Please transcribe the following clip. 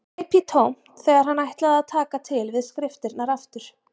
Greip í tómt þegar hann ætlaði að taka til við skriftirnar aftur.